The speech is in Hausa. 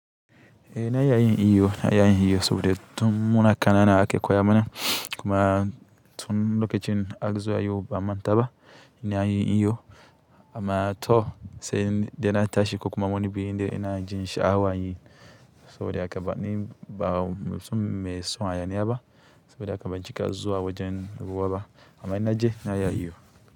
Eh na iya yin ihu saboda tun muna ƙanana ake koya mana kuma tun lokacin akazo ayi ba'a mantaba ina yin ihu amma to sai dai na tashi ko kuma wani inda ina jin sha'awa yin saboda haka, ni ba mutum me son hayaniya ba saboda haka ban cika zuwa wajen ruwa ba amma in naje na iya ihu.